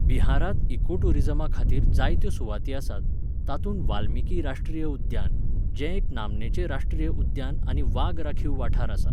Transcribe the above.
बिहारांत इकोटूरिझमा खातीर जायत्यो सुवाती आसात, तातूंत वाल्मीकी राष्ट्रीय उद्यान, जें एक नामनेचें राश्ट्रीय उद्यान आनी वाग राखीव वाठार आसा.